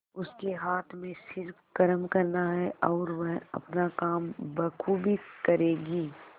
उसके हाथ में सिर्फ कर्म करना है और वह अपना काम बखूबी करेगी